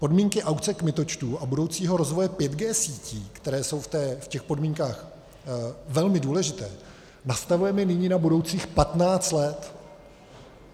Podmínky aukce kmitočtů a budoucího rozvoje 5G sítí, které jsou v těch podmínkách velmi důležité, nastavujeme nyní na budoucích 15 let.